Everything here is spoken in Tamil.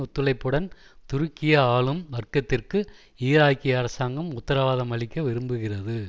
ஒத்துழைப்புடன் துருக்கிய ஆளும் வர்க்கத்திற்கு ஈராக்கிய அரசாங்கம் உத்தரவாதம் அளிக்க விரும்புகிறது